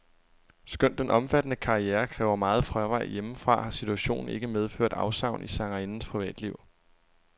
Skønt den omfattende karriere kræver meget fravær hjemmefra, har situationen ikke medført afsavn i sangerindens privatliv.